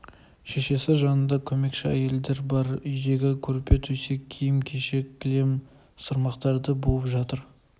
шешесі жанында көмекші әйелдер бар үйдегі көрпе-төсек киім-кешек кілем-сырмақтарды буып жатыр